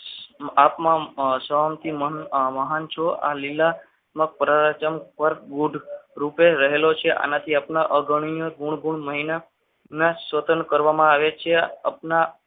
આ તમામ સહન મહાન છો આ લીલા પરાચમ પર ઘુડ રૂપે રહેલો છે આનાથી આપણા અવગણીય ગુણધર્મ સ્વતંત્ર કરવામાં આવે છે. આપના